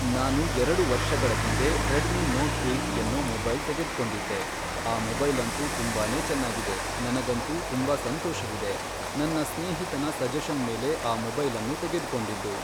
ನಾನು ಎರಡು ವರ್ಷಗಳ ಹಿಂದೆ ರೆಡ್ಮಿ ನೋಟ್ ಏಯ್ಟ್ ಎನ್ನೋ ಮೊಬೈಲ್ ತೆಗೆದ್ಕೊಂಡಿದ್ದೆ ಆ ಮೊಬೈಲಂತು ತುಂಬಾನೇ ಚೆನ್ನಾಗಿದೆ ನನಗಂತೂ ತುಂಬ ಸಂತೋಷವಿದೆ ನನ್ನ ಸ್ನೇಹಿತನ ಸಜೆಶನ್ ಮೇಲೆ ಆ ಮೊಬೈಲನ್ನು ತೆಗೆದ್ಕೊಂಡಿದ್ದು.